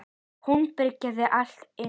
Hún byrgir allt inni.